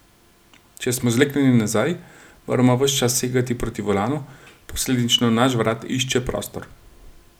Če smo zleknjeni nazaj, moramo ves čas segati proti volanu, posledično naš vrat išče prostor.